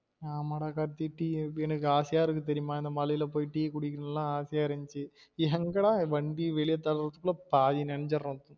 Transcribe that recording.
ஆமா டா கார்த்தி டீ எனக்கு ஆசையா இருக்கு தெரியுமா இந்த மழயில போயி டீ குடிக்கணும் லா ஆசையா இருந்துச்சு எங்கடா வண்டி வெளிய தள்ளுரதுகுள்ள பாதி நனஞ்சிறோம்